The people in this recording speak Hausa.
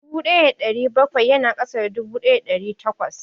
Dubu ɗaya da ɗari bakwai ya na ƙasa da dubu ɗaya da ɗari takwas